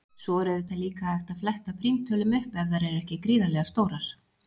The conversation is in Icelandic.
Svo er auðvitað líka hægt að fletta prímtölum upp ef þær eru ekki gríðarlega stórar.